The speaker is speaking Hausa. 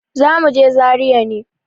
Zamuje zaria ne